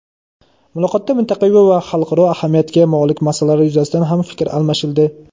Muloqotda mintaqaviy va xalqaro ahamiyatiga molik masalalar yuzasidan ham fikr almashildi.